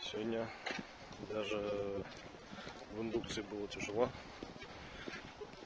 сегодня даже в индукции было тяжело